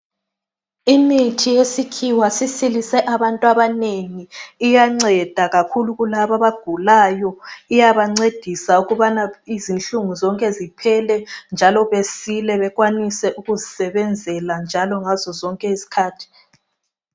Imithi yesikhiwa isisilise abanengi iyanceda kakhulu kulabo abagulayo iyabancedisa ukubana izinhlungunzonke ziphele njalo basile bakwanise ukuzisebenzela njalo ngazo. zonke izikhathi.